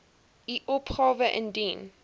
u opgawe indien